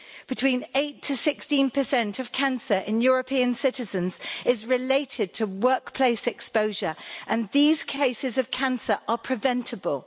Between 8 and 16 of cancer in European citizens is related to workplace exposure, and these cases of cancer are preventable.